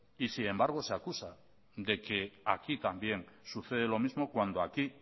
y sin embargo se acusa de que aquí también sucede lo mismo cuando aquí